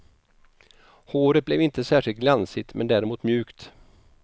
Håret blev inte särskilt glansigt, men däremot mjukt.